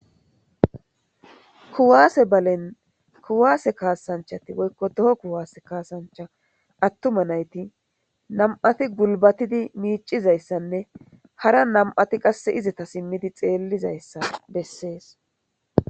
kuwaase balen kuwaase kaasanchati woykko doho kuwaase kaasancha attuma nayti nam7ati gulbatidi miicizayssanne hara nam7ati qasse izata simmidi xeellizayssa bessees